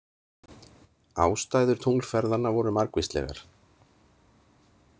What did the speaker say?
Ástæður tunglferðanna voru margvíslegar.